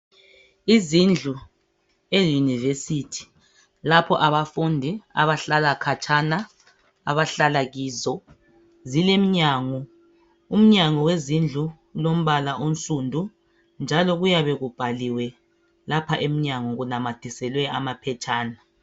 Izindlu e university lapho abafundi abahlala katshana abahlala kizo zileminyango umnyango wezindlu ulombala onsundu njalo kuyabe kubhaliwe lapha emnyango kunamathiselwe amaphetshana